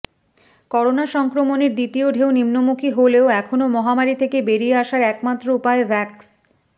corona সংক্রমণের দ্বিতীয় ঢেউ নিম্নমুখী হলেও এখনও মহামারী থেকে বেরিয়ে আসার একমাত্র উপায় ভ্যাকস